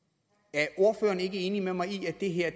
er ordføreren ikke enig med mig i at det her